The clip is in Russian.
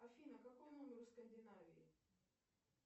афина какой номер у скандинавии